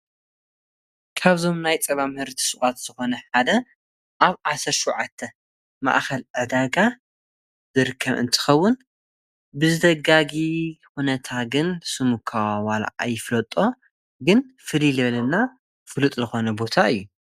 ካብዞም ናይ ጸባ ምህርቲ ሥዓት ዝኾነ ሓደ ኣብ ዓሠርተ ሽዉዓተ ማኣኸል ዕዳጋ ድርከብ እንትኸውን ብዝደጋጊ ኹነታ ግን ስሙኳ ዋል ኣይፍለጦ ግን ፍሊይ ልበለና ፍሉጥ ልኾነ ቦታ እዩ።